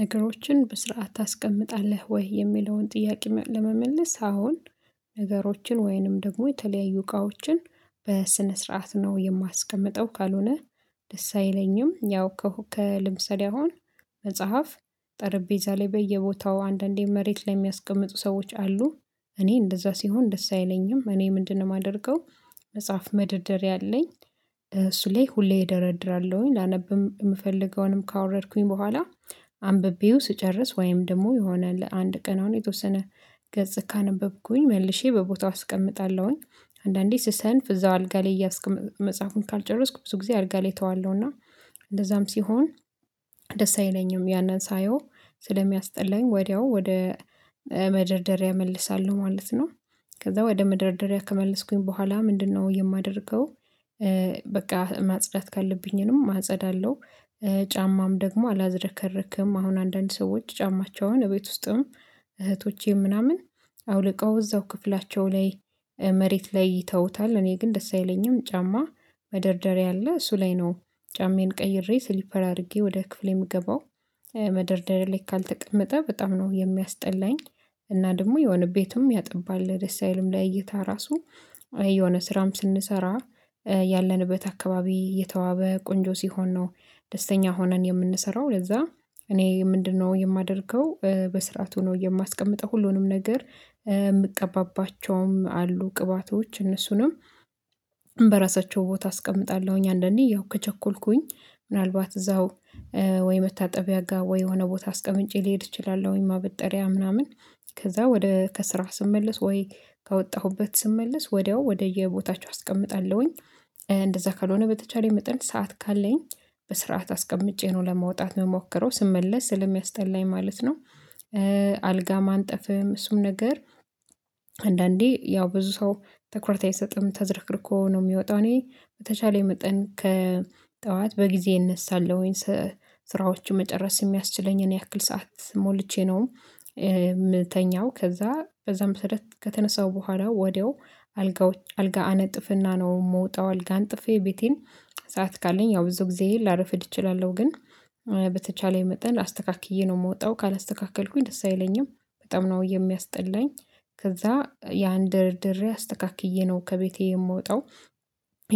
"ነገሮችን በስርዓት ታስቀምጣለህ ወይ?" የሚለውን ጥያቄ ለመመለስ፤ አዎን። ነገሮችን ወይንም ደግሞ የተለያዩ እቃዎችን በስነ ስርዓት ነው የማስቀምጠው ካልሆነ ደስ አይለኝም። ያው ከሁ ከ ለምሳሌ አሁን መጽሐፍ ጠረቤዛ ላይ በየቦታው አንዳንዴ መሬት ላይ የሚያስቀምጡ ሰዎች አሉ። እኔ እንደዛ ሲሆን ደስ አይለኝም። እኔ "ምንድነው የማደርገው?" መጽሐፍ መደርደሪያ አለኝ። እሱ ላይ ሁሌ እደረድራለሁኝ ላነብም የምፈልገውንም ካወረድኩኝ በኋላ አንብቤው ስጨርስ ወይም ደግሞ የሆነ ለአንድ ቀን አሁን የተወሰነ ገጽ ካነበብኩኝ መልሼ በቦታው አስቀምጣለሁኝ። አንዳንዴ ስሰንፍ እዛው አልጋ ላይ እያስቀመኩ መጽሐፉን ካልጨረስኩ ብዙ ጊዜ አልጋ ላይ ተዋለሁ እና እንደዛም ሲሆን ደስ አይለኝም። ያንን ሳየው ስለሚያስጠላኝ ወዲያው ወደ መደርደሪያ እመልሳለሁ ማለት ነው። ከዛ ወደ መደርደሪያ ከመለስኩኝ በኋላ ምንድነው የማደርገው? በቃ ማጽዳት ካለብኝንም አጸዳለሁ። ጫማም ደግሞ አላዘረከረክም አሁን አንዳንድ ሰዎች ጫማቸውን እቤት ውስጥም እህቶቼም ምናምን አውልቀው እዛው ክፍላቸው ላይ መሬት ላይ ይተውታል። እኔ ግን ደስ አይለኝም ጫማ መደርደሪያ አለ እሱ ላይ ነው ጫማዬን ቀይሬ ሲሊፐር አድርጌ ወደ ክፍሌ የምገባው። መደርደሪያ ላይ ካልተቀመጠ በጣም ነው የሚያስጠላኝ። እና ደግሞ የሆነ ቤቱም ያጠባል ደስ አይልም ለእይታ ራሱ የሆነ ስራም ስንሰራ ያለንበት አካባቢ የተዋበ ቆንጆ ሲሆን ነው ደስተኛ ሆነን የምንሰራው ለዛ እኔ "ምንድነው የማደርገው?" በስርዓቱ ነው የማስቀምጠው ሁሉንም ነገር። የምቀባባቸውም አሉ ቅባቶች እነሱንም በራሳቸው ቦታ አስቀምጣለሁኝ አንዳንዴ ያው ከቸኮልኩኝ ምናልባት እዛው ወይ መታጠብያ ጋ ወይ የሆነ ቦታ አስቀምጬ ልሄድ እችላለሁኝ ወይ ማበጠሪያ ምናምን ከዛ ወደ ከስራ ስመለስ ወይ ከወጣሁበት ስመለስ ወዲያው ወደየቦታቸው አስቀምጣለሁኝ። እንደዛ ካልሆነ በተቻለኝ መጠን ሰዓት ካለኝ በስርዓት አስቀምጬ ነው ለመውጣት ምሞክረው ስመለስ ስለሚያስጠላኝ ማለት ነው። አልጋ ማንጠፍም እሱም ነገር አንዳንዴ ያው ብዙ ሰው ትኩረት አይሰጥም ተዘርክርኮ ነው የሚወጣው። እኔ በተቻለኝ መጠን ከጠዋት በጊዜ እነሳለሁኝ ስራዎችን መጨረስ የሚያስችለኝን ያክል ሰዓት ሞልቼ ነው የምተኛው። ከዛ በዛ መሰረት ከተነሳው በኋላ ወዲያው አልጋ አነጥፍና ነው የምወጣው አልጋ አንጥፌ ቤቴን ሰዓት ካለኝ ያው ብዙ ጊዜ ላረፍድ እችላለሁ፤ ግን በተቻለኝ መጠን አስተካክዬ ነው የምወጣው። ካላስተካከልኩኝ ደስ አይለኝም። በጣም ነው የሚያስጠላኝ። ከዛ ያን ደርድሬ አስተካክዬ ነው ከቤቴ የምወጣው።